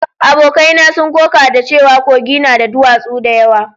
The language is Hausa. Abokai na sun koka da cewa Kogi na da duwatsu da yawa